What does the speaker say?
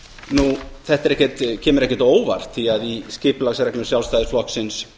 nú þetta kemur ekkert á óvart því að í skipulagsreglum sjálfstæðisflokksins